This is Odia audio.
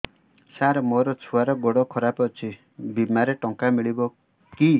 ସାର ମୋର ଛୁଆର ଗୋଡ ଖରାପ ଅଛି ବିମାରେ ଟଙ୍କା ମିଳିବ କି